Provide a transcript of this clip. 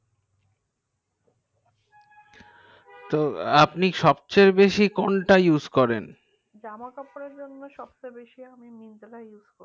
তো আপনি সব চেয়ে বেশি কোনটা use করেন জামা কাপড়ের জন্য সবচেয়ে বেশি আমি myntra use করি